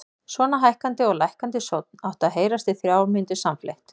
Svona hækkandi og lækkandi sónn átti að heyrast í þrjár mínútur samfleytt.